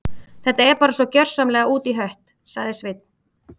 Þetta er bara svo gjörsamlega út í hött- sagði Svein